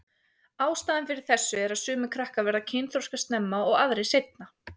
Ástæðan fyrir þessu er að sumir krakkar verða kynþroska snemma og aðrir seinna.